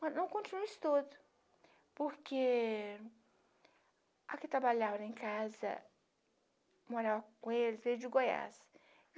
Mas não continua isso tudo, porque a que trabalhava em casa, morava com eles, veio de Goiás.